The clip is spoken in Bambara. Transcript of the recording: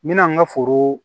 N mɛna n ka foro